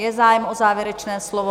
Je zájem o závěrečné slovo?